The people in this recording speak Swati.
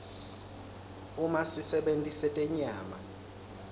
uma sisebenti setenyama